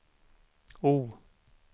O